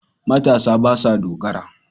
Matasa ba sa dogara.